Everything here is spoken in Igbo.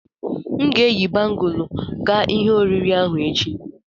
M ga-eyi bangụlu ga ihe oriri ahụ echi.